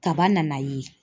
Kaba nana ye.